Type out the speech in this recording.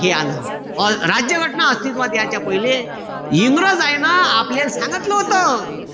हे आलं. राज्य घटना अस्तित्वात याच्या पहिले. इंग्रजायन आपलयाल सांगितलं व्हतं.